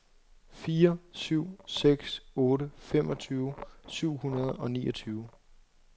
fire syv seks otte femogtyve syv hundrede og niogtyve